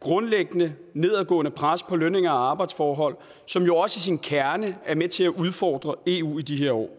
grundlæggende nedadgående pres på lønninger og arbejdsforhold som jo også i sin kerne er med til at udfordre eu i de her år